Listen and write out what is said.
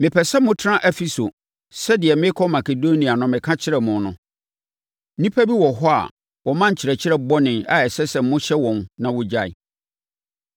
Mepɛ sɛ motena Efeso sɛdeɛ merekɔ Makedonia no meka kyerɛɛ mo no. Nnipa bi wɔ hɔ a wɔma nkyerɛkyerɛ bɔne a ɛsɛ sɛ mohyɛ wɔn na wɔgyae.